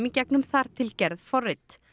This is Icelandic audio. gegnum þar til gerð forrit